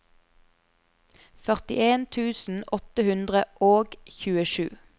førtien tusen åtte hundre og tjuesju